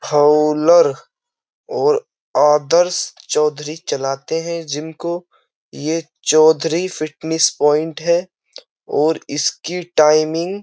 ओलर और आदर्श चौधरी चलाते हैं जिम को यह चौधरी फिटनेस पॉइंट है और इसकी टाइमिंग --